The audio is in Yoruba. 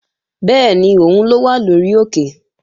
Bẹ́ẹ̀ni, òun ló wà lórí òkè